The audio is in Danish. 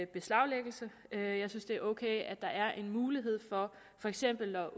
beslaglæggelse jeg synes det er ok at der er en mulighed for for eksempel at